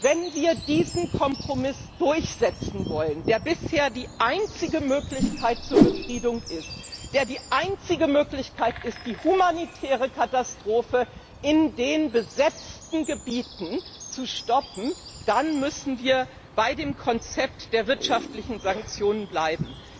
Wenn wir diesen Kompromiss durchsetzen wollen, der bisher die einzige Möglichkeit zur Befriedung ist, der die einzige Möglichkeit ist, die humanitäre Katastrophe in den besetzten Gebieten zu stoppen, dann müssen wir bei dem Konzept der wirtschaftlichen Sanktionen bleiben.